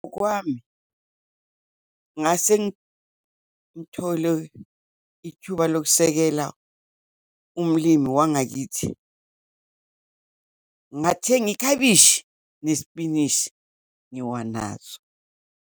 Kwami ngase ngithole ithuba lokusekela umlimi wangakithi, ngathenga ikhabishi, nesipinishi ngiwanazo.